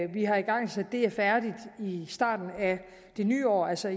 vi har igangsat er færdigt i starten af det nye år altså